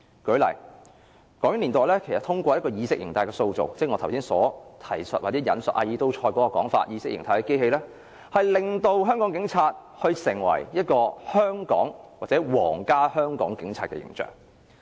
舉例來說，港英年代其實通過意識形態的塑造，即我剛才提述阿爾都塞所指意識形態的機器，令香港警察成為香港或皇家香港警察的形象。